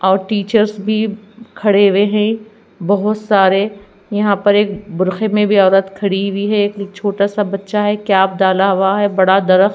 और टीचर्स भी खड़े हुए हैं बहोत सारे यहां पर एक बुरखे में भी औरत खड़ी हुई है एक छोटा सा बच्चा है कैप डाला हुआ है बड़ा दरख--